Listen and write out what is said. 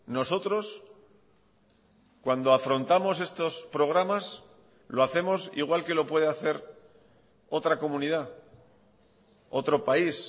nosotros cuando afrontamos estos programas lo hacemos igual que lo puede hacer otra comunidad otro país